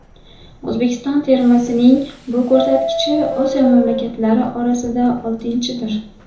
O‘zbekiston termasining bu ko‘rsatkichi Osiyo mamlakatlari orasida oltinchidir.